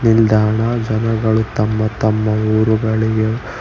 ನಿಲ್ದಾಣ ಜನಗಳು ತಮ್ಮ ತಮ್ಮ ಊರುಗಳಿಗೆ--